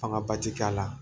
Fanga ba ti k'a la